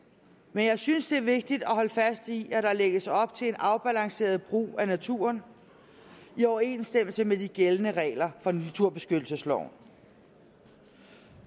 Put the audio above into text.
men jeg synes det er vigtigt at holde fast i at der lægges op til en afbalanceret brug af naturen i overensstemmelse med de gældende regler fra naturbeskyttelsesloven